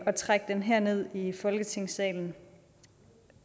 at trække den herned i folketingssalen